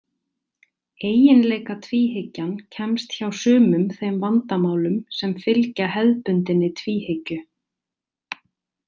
Eiginleikatvíhyggjan kemst hjá sumum þeim vandamálum sem fylgja hefðbundinni tvíhyggju.